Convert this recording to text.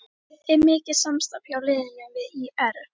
Er mikið samstarf hjá liðinu við ÍR?